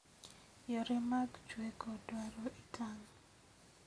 Yore mag chweko dwaro itang'